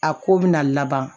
A ko bɛna laban